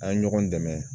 An ye ɲɔgɔn dɛmɛ